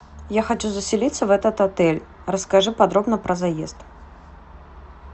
я хочу заселиться в этот отель расскажи подробно про заезд